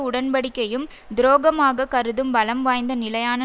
உடன்படிக்கையும் துரோகமாக கருதும் பலம்வாய்ந்த நிலையான